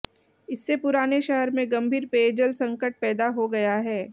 इससे पुराने शहर में गंभीर पेयजल संकट पैदा हो गया है